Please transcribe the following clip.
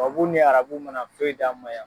ni arabu mana fɛn d'an ma ya.